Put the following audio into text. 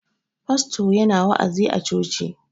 Pasto yana wa'azi a coci.